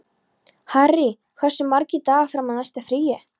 Harry, hversu margir dagar fram að næsta fríi?